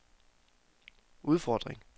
udfordring